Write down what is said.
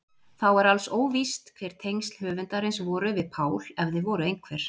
Þá er alls óvíst hver tengsl höfundarins voru við Pál ef þau voru einhver.